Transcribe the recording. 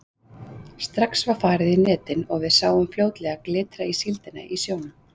Strax var farið í netin og við sáum fljótlega glitra á síldina í sjónum.